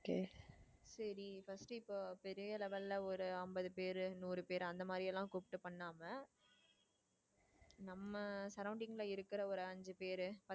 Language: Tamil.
சரி first இப்போ பெரிய level ல ஒரு ஐம்பது பேரு நூறு பேரு அந்த மாதிரி எல்லாம் கூப்பிட்டு பண்ணாம நம்ம surrounding ல இருக்குற ஒரு அஞ்சு பேரு